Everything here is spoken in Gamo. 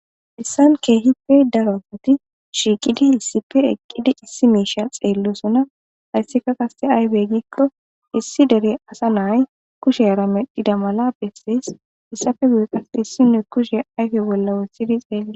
Heyisan kehippe daro asati shiqidi issippe eqidi issi misha xelosona hesika qasi ayibe giyaba gidiko issi dere asa na,ayi kushera medhida mala besees hesappe guye qasi isinozi kushe ayife bolla wotidi xelees